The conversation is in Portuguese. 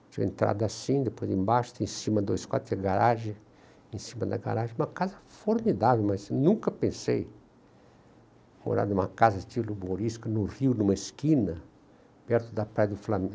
Tinha entrada assim, depois embaixo, tem cima dois quadros, tem garagem, em cima da garagem, uma casa formidável, mas nunca pensei em morar numa casa estilo morisca, no Rio, numa esquina, perto da Praia do